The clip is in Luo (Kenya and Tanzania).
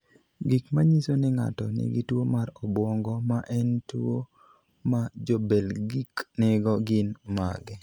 Gik manyiso ni ng'ato nigi tuwo mar obwongo, ma en tuwo ma Jo-Belgique nigo, gin mage?